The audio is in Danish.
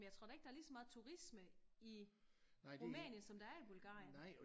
Men jeg tror da ikke der er lige så meget turisme i Rumænien som der er i Bulgarien